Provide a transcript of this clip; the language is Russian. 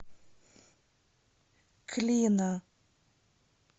клина